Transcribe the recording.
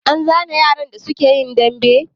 An zane yaran da suka yi dambe?